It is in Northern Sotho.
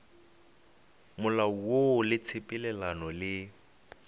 molao woo le tshepelelano le